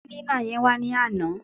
Kílínà yẹn wá ní àná.